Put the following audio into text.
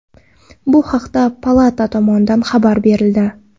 Bu haqda palata tomonidan xabar berildi .